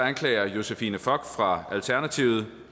anklagede josephine fock fra alternativet